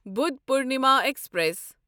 Buddha Purnima express